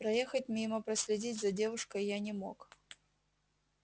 проехать мимо проследить за девушкой я не мог